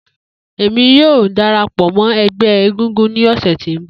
Emi yoo darapọ mọ ẹgbẹ egúngún ni ọsẹ ti n bọ.